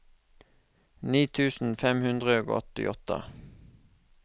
ni tusen fem hundre og åttiåtte